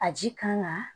A ji kan ka